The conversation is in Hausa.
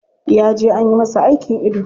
Ya je anyi masa aikin ido.